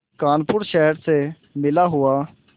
कानपुर शहर से मिला हुआ